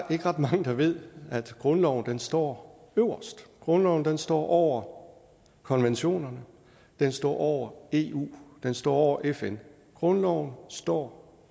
ikke ret mange der ved at grundloven står øverst grundloven står over konventionerne den står over eu den står over fn grundloven står